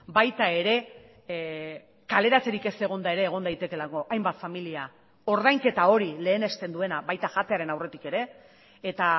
baita ere kaleratzerik ez egonda ere egon daitekeelako hainbat familia ordainketa hori lehenesten duena baita jatearen aurretik ere eta